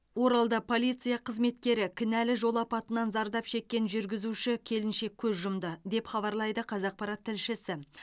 оралда полиция қызметкері кінәлі жол апатынан зардап шеккен жүргізуші келіншек көз жұмды деп хабарлайды қазақпарат тілшісі